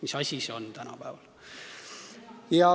Mis asi see on tänapäeval?